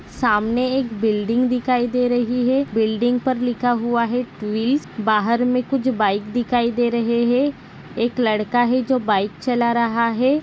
सामने के बिल्डिंग दिखाई दे रही है बिल्डिंग पर लिखा हुआ है ट्विल्ल्स बाहर में कुछ बाइक दिखाई दे रहे है एक लड़का है जो बाइक चला रहा है।